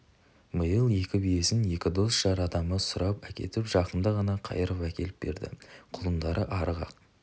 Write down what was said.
биыл екі биесін екі дос жар адамы сұрап әкетіп жақында ғана қайырып әкеліп берді құлындары арық-ақ